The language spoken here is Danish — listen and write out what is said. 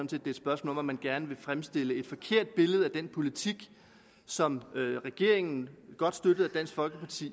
det er et spørgsmål om at man gerne vil fremstille et forkert billede af den politik som regeringen godt støttet af dansk folkeparti